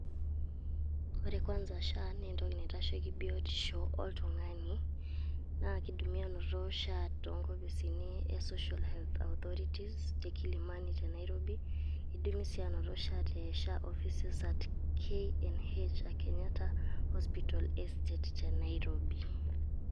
wore kwanza SHA na entoki naitasheiki biotisho oltungani naa kidimi anoto SHA tonkopisini te Social Health Authority tee Kilimani tee Nairobi kidimi sii anoto tee KNH arashu Kenyatta Hospital Estate tee Nairobi